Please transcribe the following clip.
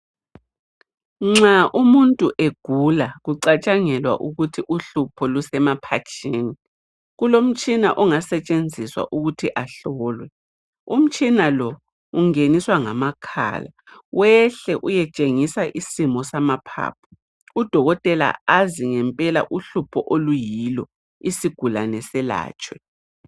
Nxa umuntu egula kucatshangelwa ukuthi uhlupho lusemaphatsheni kulomtshina ongasetshenziswa ukuthi ahlolwe. umtshina lo ungeniswa ngamakhala wehle uyetshengisa isimo samaphaphu. Udokotela azi ngempela uhlupho oluyilo isigulane selatshwe.